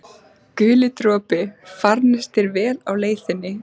Guli dropi, farnist þér vel á leið þinni.